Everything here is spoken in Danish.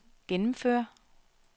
gennemføre